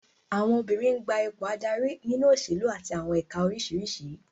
Àwọn obìnrin n gba àwọn ipò adarí nínú òṣèlú àti àwọn ẹ̀ka oríṣiríṣi